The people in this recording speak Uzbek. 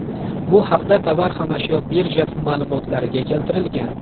Bu haqda Tovar-xomashyo birjasi ma’lumotlarida keltirilgan .